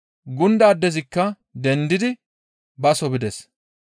Gunda addezikka dendidi baso bides.